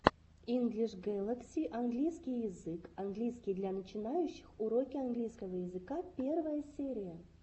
инглиш гэлакси английский язык английский для начинающих уроки английского языка первая серия